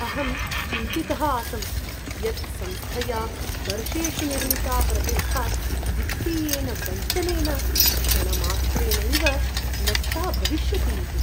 अहं चिन्तितः आसं यत् संस्थया वर्षेषु निर्मिता प्रतिष्ठा वित्तीयेन वञ्चनेन क्षणमात्रेणैव नष्टा भविष्यति इति।